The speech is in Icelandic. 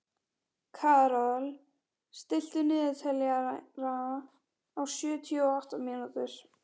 Karol, stilltu niðurteljara á sjötíu og átta mínútur.